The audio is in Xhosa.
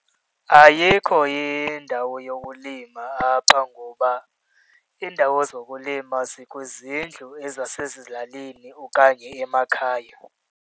Ayikho indawo yokulima apha, ngoba iindawo zokulima zikwizindlu ezasezilalini okanye emakhaya.